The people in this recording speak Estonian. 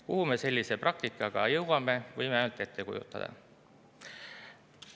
Kuhu me sellise praktikaga jõuame, võime ainult ette kujutada.